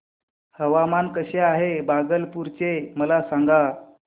हवामान कसे आहे भागलपुर चे मला सांगा